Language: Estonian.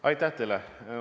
Aitäh teile!